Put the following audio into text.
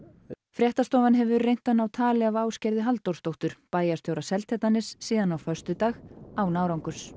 fréttastofan hefur reynt að ná tali af Ásgerði Halldórsdóttur bæjarstjóra Seltjarnarness síðan á föstudag án árangurs